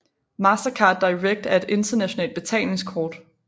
Mastercard Direct er et internationalt betalingskort